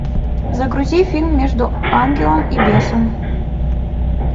загрузи фильм между ангелом и бесом